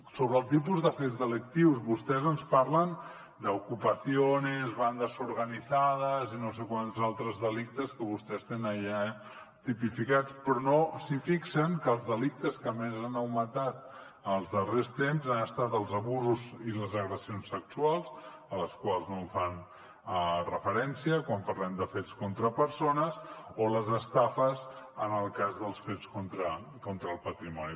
sobre el tipus de fets delictius vostès ens parlen d’ ocupaciones bandas organizadas i no sé quants altres delictes que vostès tenen allà tipificats però no es fixen que els delictes que més han augmentat en els darrers temps han estat els abusos i les agressions sexuals als quals no fan referència quan parlem de fets contra persones o les estafes en el cas dels fets contra el patrimoni